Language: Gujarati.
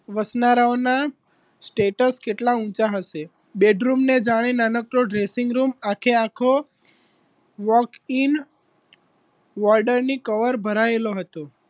વસનારાઓના status કેટલા ઊંચા હશે bedroom ને જાણે નાનકડો dressing room આખે આખો walking વોર્ડર ની કવર ભરાયેલો હતો